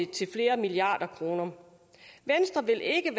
til flere milliarder kroner venstre vil ikke